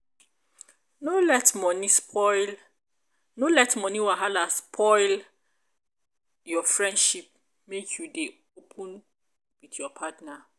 no let moni spoil no let moni wahala spoil your friendship make you dey open with your partner.